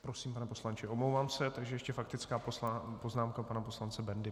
Prosím, pane poslanče, omlouvám se, takže ještě faktická poznámka pana poslance Bendy.